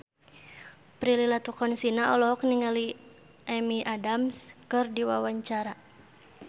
Prilly Latuconsina olohok ningali Amy Adams keur diwawancara